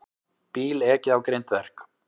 Bíl ekið á grindverk